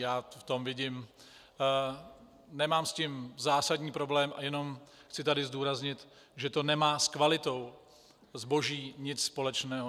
Já v tom vidím - nemám s tím zásadní problém, jenom chci tady zdůraznit, že to nemá s kvalitou zboží nic společného.